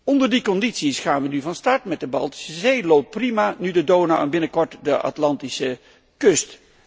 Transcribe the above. Onder die condities gaan wij nu van start met de Baltische Zee. Het loopt prima, nu de Donau en binnenkort de Atlantische kust.